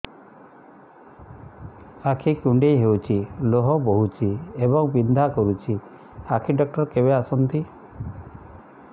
ଆଖି କୁଣ୍ଡେଇ ହେଉଛି ଲୁହ ବହୁଛି ଏବଂ ବିନ୍ଧା କରୁଛି ଆଖି ଡକ୍ଟର କେବେ ଆସନ୍ତି